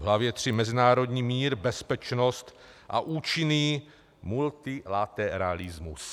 V hlavě III Mezinárodní mír, bezpečnost a účinný multilateralismus.